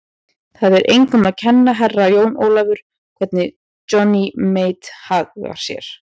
Það er engum að kenna, Herra Jón Ólafur, hvernig Johnny Mate hagar sér.